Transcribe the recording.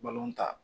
ta